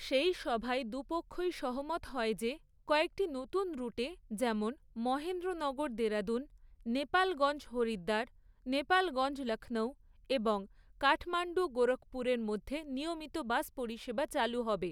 সেই সভায় দু পক্ষই সহমত হয় যে, কয়েকটি নতুন রুটে, যেমন মহেন্দ্রনগর দেরাদুণ, নেপালগঞ্জ হরিদ্বার, নেপালগঞ্জ লক্ষ্ণৌ এবং কাঠমান্ডু গোরক্ষপুরের মধ্যে নিয়মিত বাস পরিষেবা চালু হবে।